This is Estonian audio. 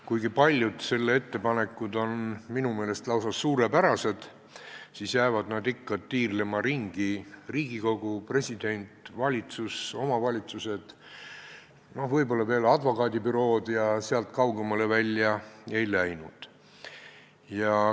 Kuigi paljud selle ettepanekud on minu meelest lausa suurepärased, jäid nad ikka tiirlema ringi, kuhu kuuluvad Riigikogu, president, valitsus, omavalitsused ja võib-olla veel advokaadibürood, aga sealt kaugemale välja ei läinud.